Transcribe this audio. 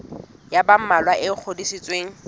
ya ba mmalwa e ngodisitsweng